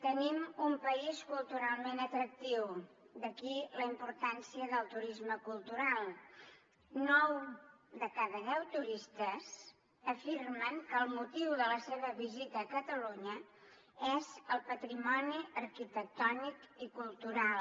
tenim un país culturalment atractiu d’aquí la importància del turisme cultural nou de cada deu turistes afirmen que el motiu de la seva visita a catalunya és el patrimoni arquitectònic i cultural